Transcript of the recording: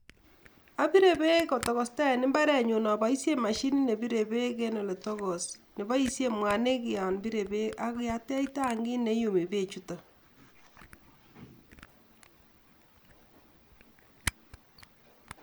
Abire beek kotokosta en imbarenyu apaishen mashinit nepire beek eng ole tokos, nepoishen mwaniik yon pirei beek ak kiatech tankit neuwei beechuto.